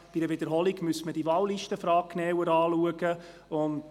Bei einer Wiederholung müsste man die Frage der Wahllisten genauer anschauen.